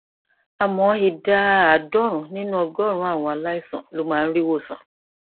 àmọ ìdá àádọrùnún nínú ọgọrùnún àwọn aláìsàn ló máa ń rí ìwòsàn